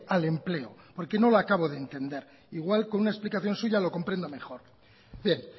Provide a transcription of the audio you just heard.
al empleo porque no le acabo de entender igual con una explicación suya lo comprendo mejor bien